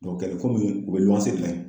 Dɔ kɛlɛ komi u be de la yen